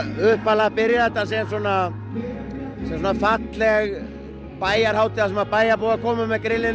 upphaflega byrjaði þetta sem svona falleg bæjarhátíð þar sem bæjarbúar kæmu með grillin